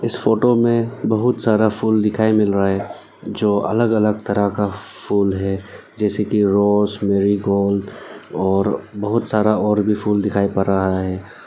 इस फोटो में बहुत सारा फूल दिखाई मिल रहा है जो अलग अलग तरह का फूल है जैसे कि रोज मेरी गोल्ड और बहुत सारा और भी फूल दिखाई पड़ रहा है।